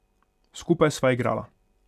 Skupaj sva igrala.